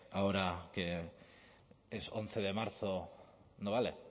ahora que es once de marzo no vale